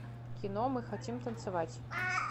кино мы хотим танцевать